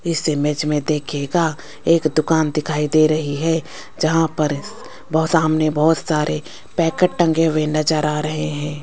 इस इमेज में देखिएगा एक दुकान दिखाई दे रही है यहां पर वो सामने बहुत सारे पैकेट टंगे हुए नजर आ रहे हैं।